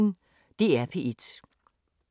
DR P1